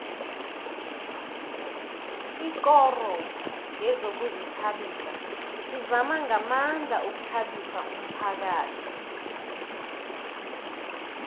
ikoro yezokuzithabisa izama ngamandla ukuthabisa umphakhathi